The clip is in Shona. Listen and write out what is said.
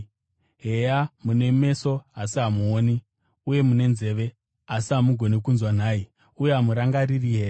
Heya, mune meso asi hamuoni, uye mune nzeve asi hamugoni kunzwa nhai? Uye hamurangariri here?